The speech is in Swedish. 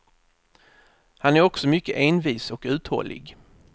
Han är också mycket envis och uthållig.